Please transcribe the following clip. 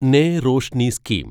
നെ റോഷ്നി സ്കീം